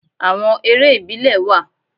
Àwon eré ìbílẹ̀ wà